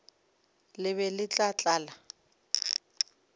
le be le tla tlala